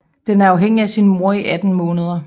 Den er afhængig af sin mor i 18 måneder